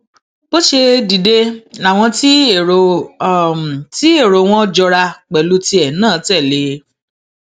bó ṣe dìde làwọn tí èrò tí èrò wọn jọra pẹlú tìẹ náà tẹlé e